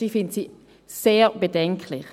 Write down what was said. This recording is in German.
Ich finde sie sehr bedenklich.